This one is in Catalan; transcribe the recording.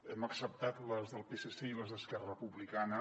hem acceptat les del psc i les d’esquerra republicana